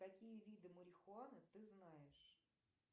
какие виды марихуаны ты знаешь